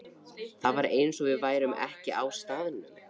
Það var eins og við værum ekki á staðnum.